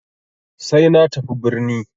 Sai na tafi birni.